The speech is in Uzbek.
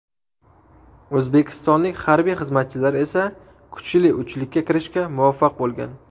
O‘zbekistonlik harbiy xizmatchilar esa kuchli uchlikka kirishga muvaffaq bo‘lgan.